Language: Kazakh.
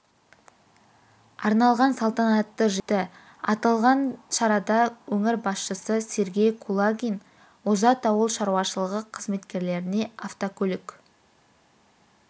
арналған салтанатты жиыны өтті аталған шарада өңір басшысы сергей кулагин озат ауыл шаруашылығы қызметкерлеріне автокөлік